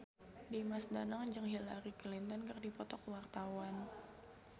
Dimas Danang jeung Hillary Clinton keur dipoto ku wartawan